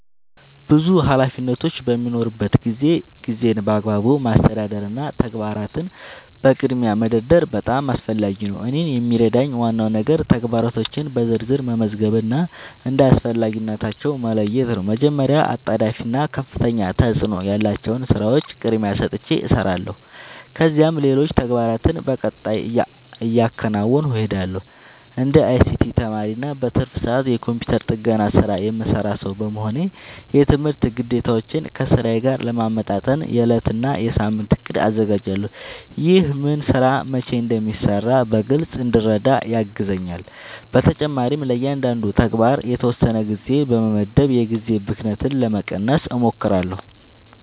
ብዙ ኃላፊነቶች በሚኖሩበት ጊዜ ጊዜን በአግባቡ ማስተዳደር እና ተግባራትን በቅድሚያ መደርደር በጣም አስፈላጊ ነው። እኔን የሚረዳኝ ዋናው ነገር ተግባራቶቼን በዝርዝር መመዝገብ እና እንደ አስፈላጊነታቸው መለየት ነው። መጀመሪያ አጣዳፊ እና ከፍተኛ ተፅእኖ ያላቸውን ሥራዎች ቅድሚያ ሰጥቼ እሰራለሁ፣ ከዚያም ሌሎች ተግባራትን በቀጣይ እያከናወንሁ እሄዳለሁ። እንደ አይሲቲ ተማሪ እና በትርፍ ሰዓቴ የኮምፒውተር ጥገና ሥራ የምሠራ ሰው በመሆኔ፣ የትምህርት ግዴታዎቼን ከሥራዬ ጋር ለማመጣጠን የዕለት እና የሳምንት እቅድ አዘጋጃለሁ። ይህ ምን ሥራ መቼ እንደሚሠራ በግልጽ እንድረዳ ያግዘኛል። በተጨማሪም ለእያንዳንዱ ተግባር የተወሰነ ጊዜ በመመደብ የጊዜ ብክነትን ለመቀነስ እሞክራለሁ።